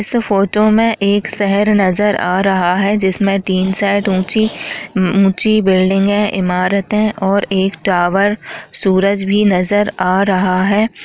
इस फोटो में एक शहर नजर आ रहा है जिसमे तीन शैड ऊंची ऊंची बिल्डिंगे इमारते और एक टावर सूरज भी नजर आ रहा है।